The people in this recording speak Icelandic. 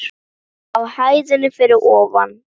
Á hæðinni fyrir ofan.